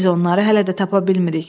Biz onları hələ də tapa bilmirik.